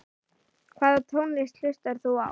Hvaða tónlist hlustar þú á?